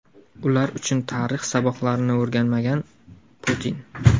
ular uchun tarix saboqlarini o‘rganmagan – Putin.